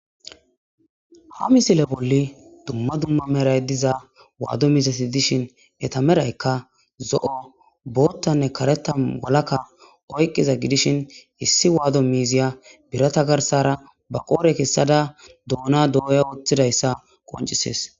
Ha misile bolli dumma dumma meray diza waaddo miisasi dishin etameraykka zo'o boottanne kareta walakka oyqiza gidishin issi waado miiziya birata garsara ba qoore kessada doona dooya wooththidayssa qoncisees.